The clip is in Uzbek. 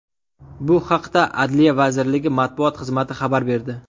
Bu haqda Adliya vazirligi matbuot xizmati xabar berdi .